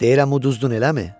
Deyirəm, uduzdun, eləmi?